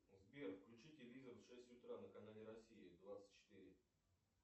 сбер включи телевизор в шесть утра на канале россия двадцать четыре